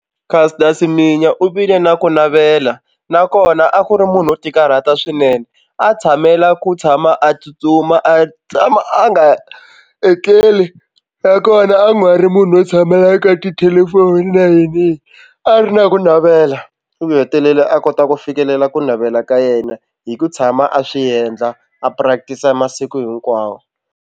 Caster Semenya u vile na ku navela nakona a ku ri munhu wo tikarhata swinene a tshamela ku tshama a tsutsuma a tshama a nga etleli nakona a nga ri munhu wo tshamela eka tithelefoni na yiniyini a ri na ku navela u hetelela a kota ku fikelela ku navela ka yena hi ku tshama a swi endla a practice a masiku hinkwawo.